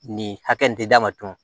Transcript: Nin hakɛ nin d'a ma tun